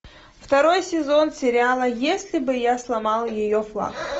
второй сезон сериала если бы я сломал ее флаг